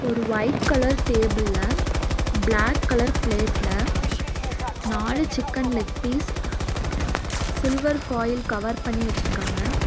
ஒரு white colour டேபிள்ல black colour பிளேட்ல நாலு chicken leg piece silver foil cover பண்ணி வச்சிருக்காங்க.